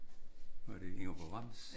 Var det Ingeborg Brems?